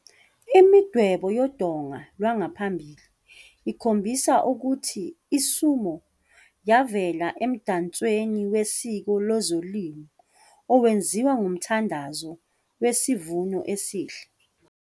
Imidwebo yodonga lwangaphambili ikhombisa ukuthi i-sumo yavela emdansweni wesiko lezolimo owenziwa ngomthandazo wesivuno esihle.